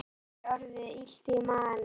Mér er orðið illt í maganum